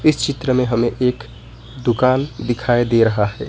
चित्र में हमें एक दुकान दिखाई दे रहा है।